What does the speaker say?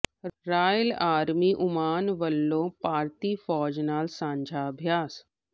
royal army Oman ਵੱਲੋਂ ਭਾਰਤੀ ਫ਼ੌਜ ਨਾਲ ਸਾਂਝਾ ਅਭਿਆਸ